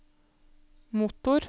motor